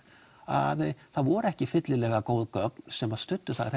að það voru ekki fyllilega góð gögn sem studdu það